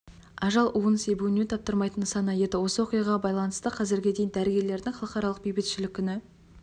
ажал уын себуіне таптырмайтын нысана еді осы оқиғаға байланысты қазірге дейін дәрігерлердің халықаралық бейбітшілік күні